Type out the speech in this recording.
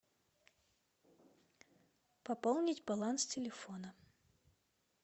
пополнить баланс телефона